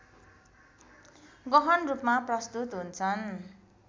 गहनरूपमा प्रस्तुत हुन्छन्